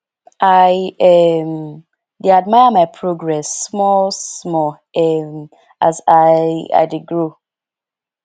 i um dey admire my progress small small um as i i dey grow